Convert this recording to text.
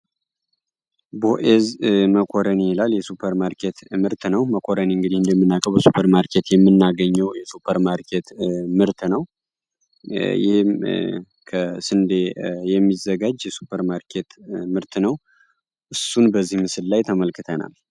ቦኤዝ መኮረኒ ይላል የሱበርማኬት ምርት ነው። መኮረኒ እንግዲህ እንደምናውቀው በሱበርማርኬት የምናገኘው የሱበር ማርኬት ምርት ነው ይህም ከስንዴ የሚዘጋጅ እሱን በዚህ ምስል ላይ ተመልክተናል።